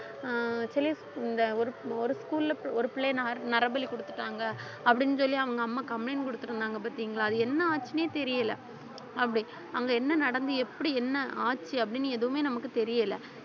ஆஹ் சில இந்த ஒரு ஒரு school ல ஒரு பிள்ளையை ந~ நரபலி கொடுத்துட்டாங்க அப்படின்னு சொல்லி அவங்க அம்மா complaint கொடுத்திருந்தாங்க பார்த்தீங்களா அது என்ன ஆச்சுன்னே தெரியலே அப்படி அங்க என்ன நடந்தது எப்படி என்ன ஆச்சு அப்படின்னு எதுவுமே நமக்கு தெரியல